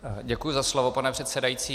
Děkuji za slovo, pane předsedající.